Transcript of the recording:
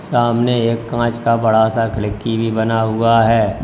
सामने एक कांच का बड़ा सा खिड़की भी बना हुआ है।